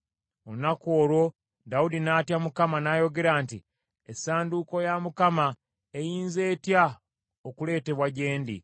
Olunaku olwo Dawudi n’atya Mukama , n’ayogera nti, “Essanduuko ya Mukama eyinza etya okuleetebwa gye ndi?”